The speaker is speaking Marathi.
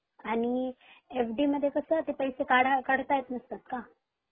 आणि एफ.डी कस ते पैसे काढव काढता येत नसता का?